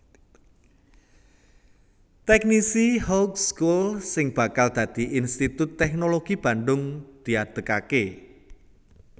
Technische Hooge School sing bakal dadi Institut Teknologi Bandung diadegaké